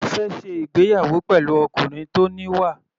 Mo fẹ́ ṣe ìgbéyàwó pẹ̀lú ọkùnrin tó níwà.